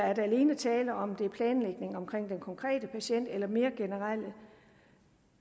er der alene tale om at det er planlægningen omkring den konkrete patient eller mere generelt